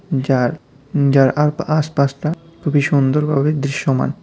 যার উঁ যার আর আশপাশটা খুবই সুন্দর ভাবে দৃশ্যমান।